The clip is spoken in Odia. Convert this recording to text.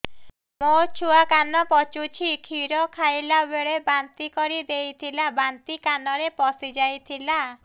ମୋ ଛୁଆ କାନ ପଚୁଛି କ୍ଷୀର ଖାଇଲାବେଳେ ବାନ୍ତି କରି ଦେଇଥିଲା ବାନ୍ତି କାନରେ ପଶିଯାଇ ଥିଲା